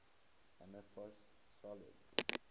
amorphous solids